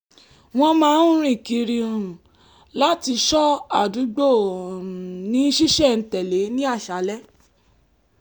wọ́n máa ń rìn kiri um láti ṣó àdúgbò um ní ṣísẹ̀ntẹ̀lé ní àṣálẹ́